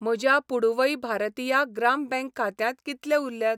म्हज्या पुडुवै भारतिया ग्राम बँक खात्यांत कितले उरल्यात?